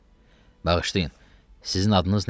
Bağışlayın, sizin adınız nədir?